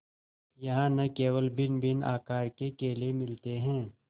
यहाँ न केवल भिन्नभिन्न आकार के केले मिलते हैं